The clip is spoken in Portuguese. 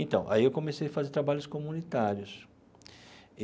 Então, aí eu comecei a fazer trabalhos comunitários.